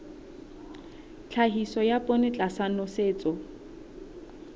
tlhahiso ya poone tlasa nosetso